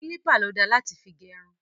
Kílípà ló da láti fi gẹrun.